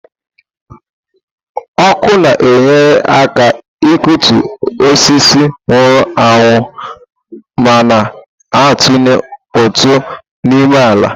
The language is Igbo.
Ọkụ na-enyere aka ịkụtu osisi nwụrụ anwụ ma na-atụnye ụtụ n'ịmụ ala.